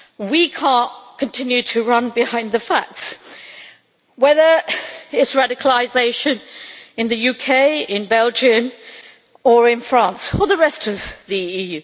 We cannot continue to run behind the facts, whether it is radicalisation in the UK, in Belgium or in France or the rest of the EU.